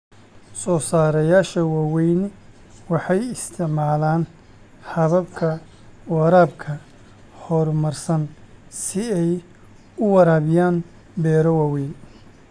Soosaarayaasha waaweyni waxay isticmaalaan hababka waraabka horumarsan si ay u waraabiyaan beero waaweyn.